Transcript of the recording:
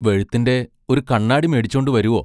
വെഴുത്തിന്റെ ഒരു കണ്ണാടി മേടിച്ചോണ്ടു വരുവോ?